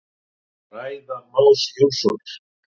Ræða Más Jónssonar.